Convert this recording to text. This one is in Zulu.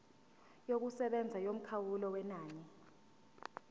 yokusebenza yomkhawulo wenani